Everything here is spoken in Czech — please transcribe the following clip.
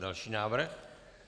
Další návrh.